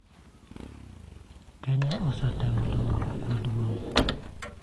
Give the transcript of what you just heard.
Kenya osetimo dongruok maduong'